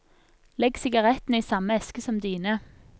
Legg sigarettene i samme eske som dine.